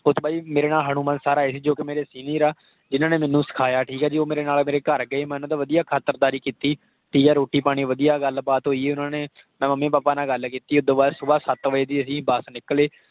ਓਸ ਤੋਂ ਬਾਅਦ ਜੀ। ਮੇਰੇ ਨਾਲ ਹਨੂਮਾਨ SIR ਆਏ ਸੀ ਜੋ ਕਿ ਮੇਰੇ senior ਆ ਜਿਹਨਾਂ ਨੇ ਮੈਨੂੰ ਸਿਖਾਇਆ। ਠੀਕ ਹੈ ਜੀ। ਉਹ ਮੇਰੇ ਨਾਲ ਮੇਰੇ ਘਰ ਗਏ। ਮੈਂ ਉਹਨਾਂ ਦੀ ਚੰਗੀ ਖਾਤਿਰਦਾਰੀ ਕੀਤੀ। ਠੀਕ ਹੈ। ਰੋਟੀ ਪਾਣੀ ਵਧਿਆ ਗੱਲ ਬਾਤ ਹੋਈ ਉਹਨਾਂ ਨੇ, ਮੈਂ mummy papa ਨਾਲ ਗੱਲ ਕੀਤੀ ਉਦੋਂ ਬਾਅਦ ਸੁਬਹ ਸੱਤ ਵਜੇ ਦੀ ਅਸੀਂ ਬਸ ਨਿਕਲੇ।